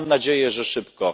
Ja mam nadzieję, że szybko.